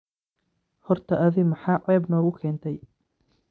Horta adhi maxa ceeb noqukentay.